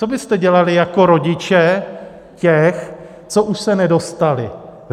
Co byste dělali jako rodiče těch, co už se nedostali?